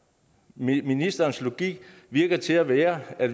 ministerens logik virker til at være at